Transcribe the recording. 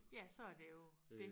Ja så er det jo dét